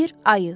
Bir ayı.